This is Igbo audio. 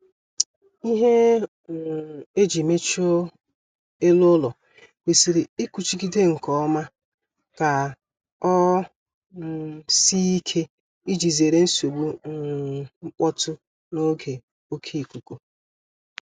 Ihe um e ji mechie elu ụlọ kwesịrị ịkụchigide nkeọma ka ọ um sie ike ịji zere nsogbu um mkpọtụ n'oge oké ikuku